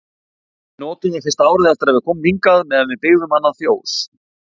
Við notuðum það fyrsta árið eftir að við komum hingað meðan við byggðum annað fjós.